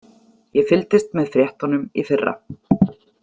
Ég fylgdist með fréttunum í fyrra.